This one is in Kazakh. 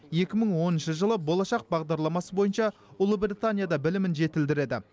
екі мың оныншы жылы болашақ бағдарламасы бойынша ұлыбританияда білімін жетілдіреді